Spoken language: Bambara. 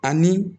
Ani